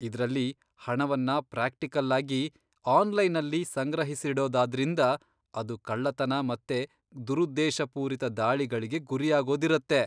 ಇದ್ರಲ್ಲಿ ಹಣವನ್ನ ಪ್ರಾಕ್ಟಿಕಲ್ಲಾಗಿ 'ಆನ್ಲೈನಲ್ಲಿ' ಸಂಗ್ರಹಿಸಿಡೋದಾದ್ರಿಂದ, ಅದು ಕಳ್ಳತನ ಮತ್ತೆ ದುರುದ್ದೇಶಪೂರಿತ ದಾಳಿಗಳಿಗೆ ಗುರಿಯಾಗೋದಿರತ್ತೆ.